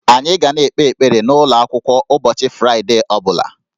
Anyị ga na-ekpe ekpere n'ụlọ akwụkwọ ụbọchị Fraịdee ọ bụla